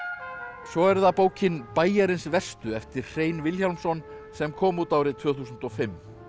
svo er það bókin Bæjarins verstu eftir Hrein Vilhjálmsson sem kom út árið tvö þúsund og fimm